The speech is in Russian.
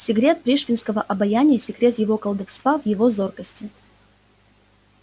секрет пришвинского обаяния секрет его колдовства в его зоркости